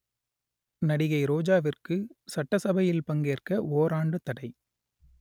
நடிகை ரோஜாவிற்கு சட்டசபையில் பங்கேற்க ஓராண்டு தடை